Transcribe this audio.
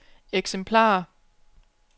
eksemplarer